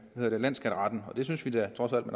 landsskatteretten og det synes vi da trods alt